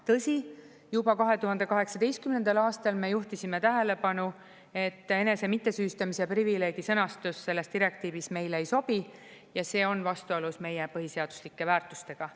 Tõsi, juba 2018. aastal me juhtisime tähelepanu, et enese mittesüüstamise privileegi sõnastus selles direktiivis meile ei sobi ja see on vastuolus meie põhiseaduslike väärtustega.